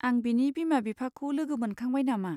आं बिनि बिमा बिफाखौ लोगो मोनखांबाय नामा?